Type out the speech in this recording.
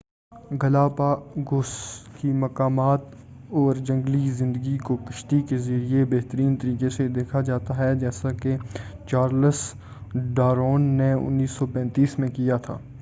Galapagos کی مقامات اور جنگلی زندگی کو کشتی کے ذریعے بہترین طریقے سے دیکھا جاتا ہے جیسا کہ چارلس ڈارون نے 1835 میں کیا تھا